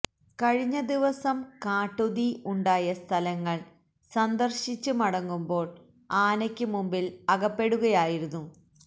കഴിഞ്ഞ ദിവസം കാട്ടുതീ ഉണ്ടായ സ്ഥലങ്ങള് സന്ദര്ശിച്ച് മടങ്ങുമ്പോള് ആനക്ക് മുമ്പില് അകപ്പെടുകയായിരുന്നു